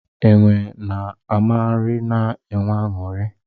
Enwe na amagharị na-enwe aṅụrị.